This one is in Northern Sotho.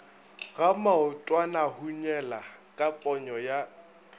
ga maotwanahunyela ka ponyo ya